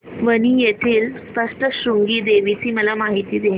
वणी येथील सप्तशृंगी देवी ची मला माहिती दे